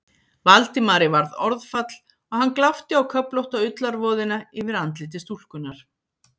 Valdimari varð orðfall og hann glápti á köflótta ullarvoðina yfir andliti stúlkunnar.